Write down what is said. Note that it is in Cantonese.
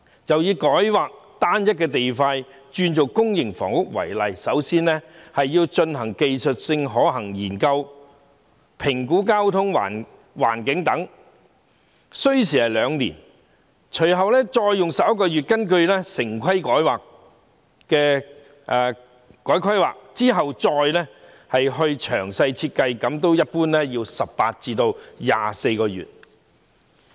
就以改劃單一塊土地作公營房屋為例，首先要進行技術可行性研究以作交通、環境等評估，這需時兩年；隨後用11個月的時間根據《城市規劃條例》改劃用地，再進行詳細設計，這一般需時18至24個月。